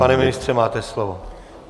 Pane ministře, máte slovo.